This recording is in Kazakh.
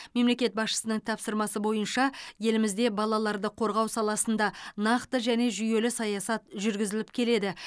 мемлекет басшысының тапсырмасы бойынша елімізде балаларды қорғау саласында нақты және жүйелі саясат жүргізіліп келеді